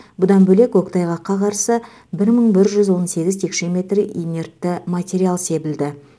бұдан бөлек көктайғаққа қарсы бір мың бір жүз он сегіз текше метр инертті материал себілді